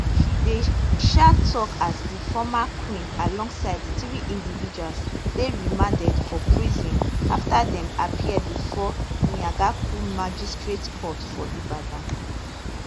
she dey um tok as di former queen alongside three individuals dey remanded for prison after dem appear bifor iyaganku magistrate court for ibadan